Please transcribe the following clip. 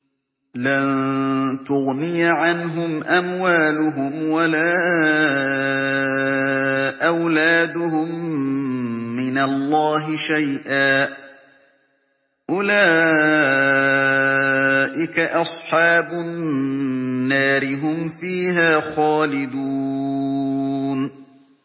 لَّن تُغْنِيَ عَنْهُمْ أَمْوَالُهُمْ وَلَا أَوْلَادُهُم مِّنَ اللَّهِ شَيْئًا ۚ أُولَٰئِكَ أَصْحَابُ النَّارِ ۖ هُمْ فِيهَا خَالِدُونَ